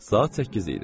Saat səkkiz idi.